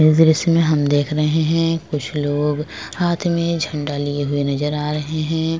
इस दृश्य में हम देख रहे हैं कुछ लोग हाथ में झंडा लिए हुए नजर आ रहे हैं।